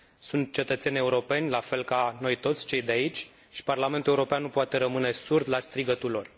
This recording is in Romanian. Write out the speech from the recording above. Sunt cetățeni europeni, la fel ca noi toți, cei de aici, și Parlamentul European nu poate rămâne surd la strigătul lor.